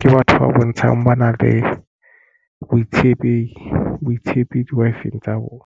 ke batho ba bontshang ba na le boitshepi di-Wi-Fi tsa bona.